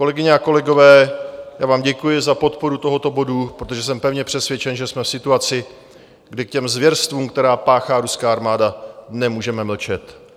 Kolegyně a kolegové, já vám děkuji za podporu tohoto bodu, protože jsem pevně přesvědčen, že jsme v situaci, kdy k těm zvěrstvům, která páchá ruská armáda, nemůžeme mlčet.